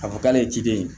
A fɔ k'ale ye ci de ye